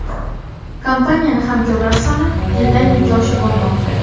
Kompaniyani hamkorlari soni yildan yilga oshib bormoqda.